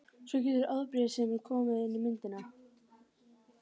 Svo getur afbrýðisemin komið inn í myndina.